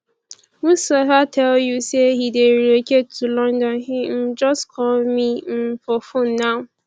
mustapha tell you say he dey relocate to london he um just call me um for phone now